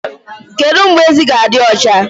Kedu mgbe ezi ga-adị ọcha?